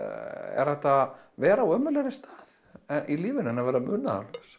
er hægt að vera á ömurlegri stað í lífinu en vera munaðarlaus